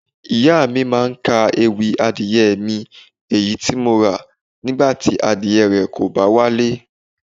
Ìyá mi máa ń ka ewì "adìẹ mi, èyí tí mo ra, nígbà tí adìẹ rẹ kò bá wálé.